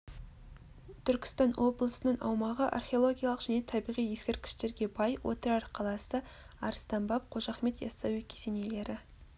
түркістан облысының аумағы археологиялық және табиғи ескерткіштерге бай отырар қаласы арыстан баб қожа ахмет яссауи кесенелері